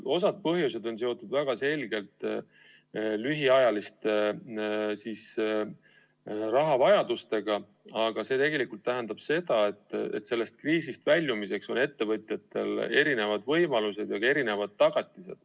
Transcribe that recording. Osa põhjuseid on seotud väga selgelt lühiajalise rahavajadusega, aga see tegelikult tähendab seda, et kriisist väljumiseks on ettevõtjatel erisugused võimalused ja erisugused tagatised.